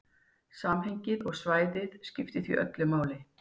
Samhengið og svæðið skiptir því öllu máli.